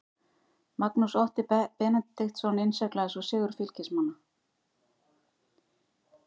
Magnús Otti Benediktsson innsiglaði svo sigur Fylkismanna.